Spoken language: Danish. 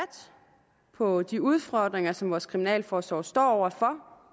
på de udfordringer som vores kriminalforsorg står over for